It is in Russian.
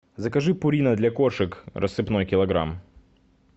закажи пурина для кошек рассыпной килограмм